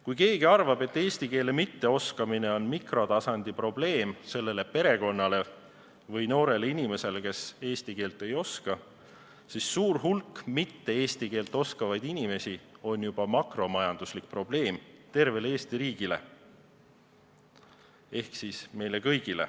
Kui keegi arvab, et eesti keele mitteoskamine on mikrotasandi probleem, mis puudutab üksnes perekonda või noort inimest, kes eesti keelt ei oska, siis tegelikult on suur hulk eesti keelt mitteoskavaid inimesi makromajanduslik probleem, mis puudutab tervet Eesti riiki ehk meid kõiki.